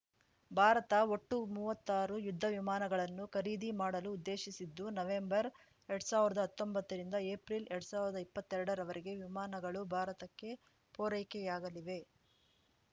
ಭಾರತ ಒಟ್ಟು ಮೂವತ್ತಾರು ಯುದ್ಧವಿಮಾನಗಳನ್ನು ಖರೀದಿ ಮಾಡಲು ಉದ್ದೇಶಿಸಿದ್ದು ನವೆಂಬರ್‌ ಎರಡ್ ಸಾವಿರ್ದಾ ಹತ್ತೊಂಬತ್ತರಿಂದ ಏಪ್ರಿಲ್‌ ಎರಡ್ ಸಾವಿರ್ದಾ ಇಪ್ಪತ್ತೆರಡರವರೆಗೆ ವಿಮಾನಗಳು ಭಾರತಕ್ಕೆ ಪೂರೈಕೆಯಾಗಲಿವೆ